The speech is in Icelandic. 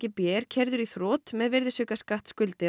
b er keyrður í þrot með